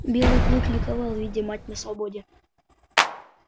белый клык ликовал видя мать на свободе